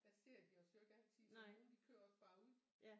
Der ser de os jo ikke altid så nogen de kører også bare ud